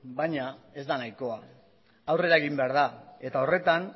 baina ez da nahikoa aurrera egin behar da eta horretan